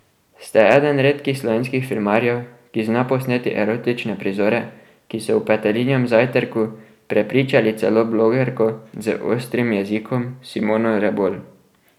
Ste eden redkih slovenskih filmarjev, ki zna posneti erotične prizore, ki so v Petelinjem zajtrku prepričali celo blogerko z ostrim jezikom Simono Rebolj.